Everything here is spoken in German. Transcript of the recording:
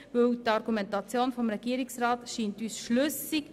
Die Argumentation des Regierungsrats scheint uns schlüssig.